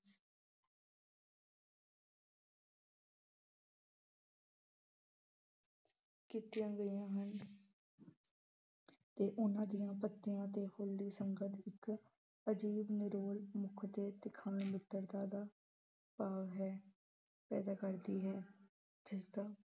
ਕੀਤੀਆਂ ਗਈਆਂ ਹਨ ਤੇ ਉਹਨਾਂ ਦੀਆਂ ਪੱਤੀਆਂ ਤੇ ਫੁੱਲ ਦੀ ਸੰਗਤ ਇੱਕ ਅਜ਼ੀਬ ਨਿਰੋਲ ਮਿੱਤਰਤਾ ਦਾ ਭਾਵ ਹੈ ਪੈਦਾ ਕਰਦੀ ਹੈ, ਜਿਸਦਾ